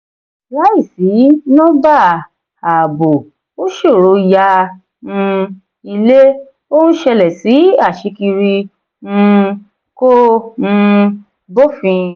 láìsí nọ́bà ààbò ó ṣòro yá um ilé; ó ń ṣẹlẹ̀ sí aṣíkiri um kò um bófin.